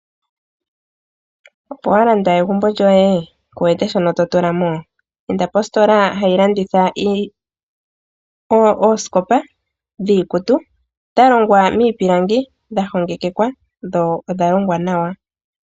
Opo wa landa egumbo lyoye? Kuwete shono to tula mo? Inda positola hayi landitha ooskopa dhiikutu dha longwa miipilangi dha hongekeka dho odha longwa nawa.